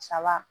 Saba